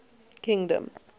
kingdom